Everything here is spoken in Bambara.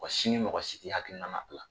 Mɔgɔ si ni mɔgɔ si ti hakilina ma bila.